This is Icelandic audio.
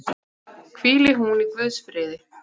Hvíli hún í Guðs friði.